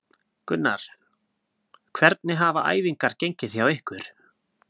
Gunnar: Hvernig hafa æfingar gengið hjá ykkur?